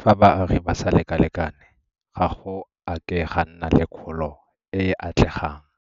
fa baagi ba sa lekalekane ga go a ke ga nna le kgolo e e atlegang.